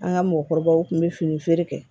An ka mɔgɔkɔrɔbaw kun bɛ fini feere kɛ